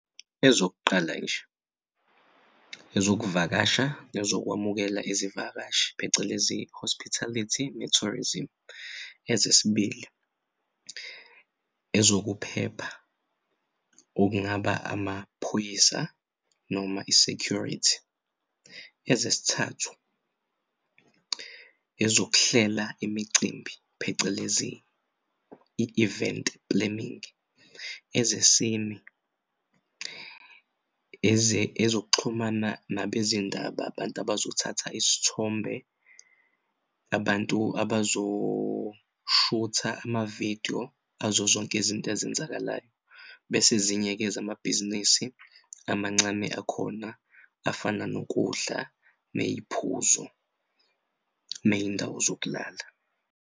Ezokuqala nje ezokuvakasha ezokwamukela izivakashi, phecelezi hospitality ne-tourism. Ezesibili ezokuphepha okungaba amaphoyisa noma i-security. Ezesithathu ezokuhlela imicimbi phecelezi i-event planning. Ezesine ezokuxhumana nabezindaba abantu abazothatha izithombe, abantu abazoshutha ama-video azozonke izinto ezenzakalayo bese ezinye-ke zamabhizinisi amancane akhona afana nokudla ney'phuzo ney'ndawo zokulala.